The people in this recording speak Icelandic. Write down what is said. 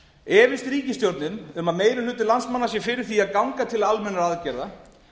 efist ríkisstjórnin um að meiri hluti landsmanna sé fyrir því að ganga til almennra aðgerða